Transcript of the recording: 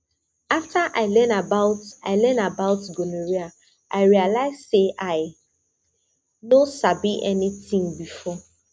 after i learn about i learn about gonorrhea i realize say i no sabi anything before